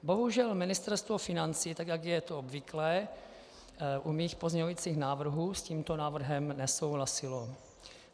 Bohužel Ministerstvo financí, tak jak je to obvyklé u mých pozměňovacích návrhů, s tímto návrhem nesouhlasilo.